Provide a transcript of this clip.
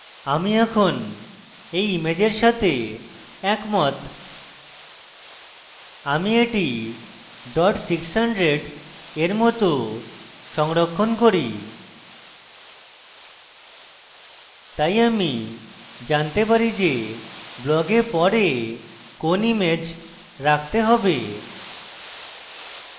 আমি এখন এই ইমেজের save একমত আমি এটি dot 600 এর মত সংরক্ষণ করি তাই আমি জানতে পারি যে blog পরে কোন image রাখতে save